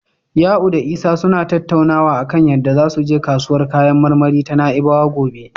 Ya'u da Isa suna tattaunawa a kan yadda zasu je kasuwar kayan marmari ta Na'ibawa gobe.